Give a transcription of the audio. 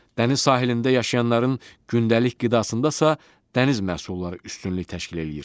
Dəniz sahilində yaşayanların gündəlik qidasında isə dəniz məhsulları üstünlük təşkil eləyir.